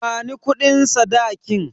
Bani kudin sadakin.